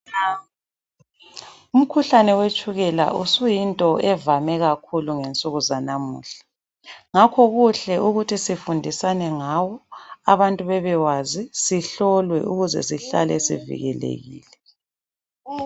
Umkhuhlane wetshukela usuyinto evame kakhulu ngensuku zanamuhla. Ngakho kuhle ukuthi sifundisane ngawo abantu bebewazi ,sihlolwe ukuze sihlale sivikelekile.